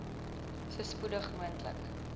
so spoedig moontlik